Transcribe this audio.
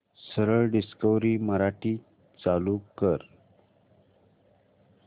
सरळ डिस्कवरी मराठी चालू कर